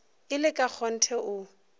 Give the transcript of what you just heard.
e le ka kgonthe o